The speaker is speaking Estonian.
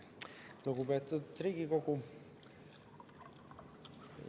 Lugupeetud Riigikogu!